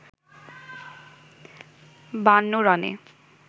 ৫২ রানে